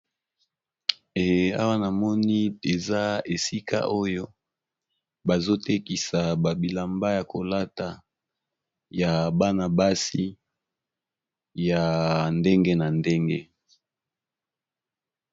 Eee awa namoni eza esika oyo bazotekisa babilamba yakolata ya banabasi yaa ndenge na ndenge